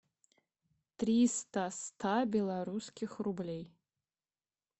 триста ста белорусских рублей